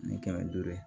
Ni kɛmɛ duuru ye